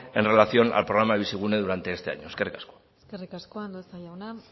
en relación al programa bizigune durante este año eskerrik asko eskerrik asko andueza jauna